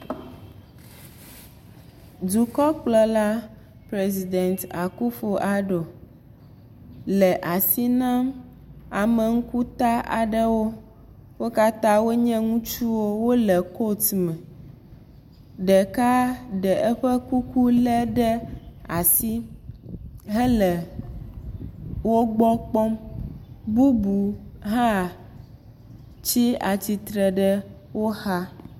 Dukɔkplɔla President Akuffo Addo le asi nam ame ŋkuta aɖewo. Wo kata wo nye ŋutsowo. Wole koat me. Ɖeka le eƒe kuku ɖe asi he ke wogbɔ kpɔm. bubu hã tsi atsi tre ɖe wo xa.